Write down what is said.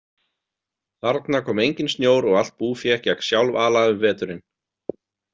Þarna kom enginn snjór og allt búfé gekk sjálfala um veturinn.